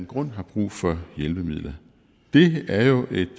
grund har brug for hjælpemidlet det er jo et